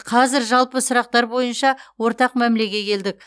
қазір жалпы сұрақтар бойынша ортақ мәмілеге келдік